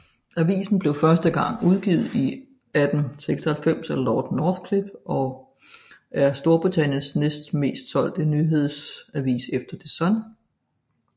Avisen blev første gang udgivet i 1896 af Lord Northcliffe og er Storbritanniens næst mest solgte nyhedsavis efter The Sun